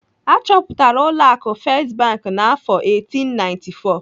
Achọpụtara ụlọ akụ First Bank n'afọ 1894.